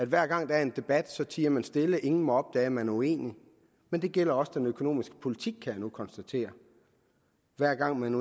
hver gang der er en debat tier man stille ingen må opdage at man er uenige men det gælder også den økonomiske politik kan jeg nu konstatere hver gang man